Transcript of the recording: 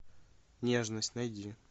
нежность найди